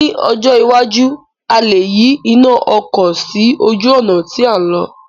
Ní ọjọ́ iwájú, a lè yí iná ọkọ̀ sí ojú ọ̀nà tí à ń lọ̀